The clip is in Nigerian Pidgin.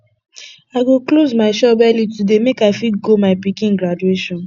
i go close my shop early today make i fit go my pikin graduation